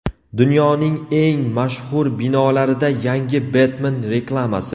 Dunyoning eng mashhur binolarida yangi Betmen reklamasi.